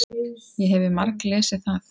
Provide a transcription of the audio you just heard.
Ég hefi marglesið það.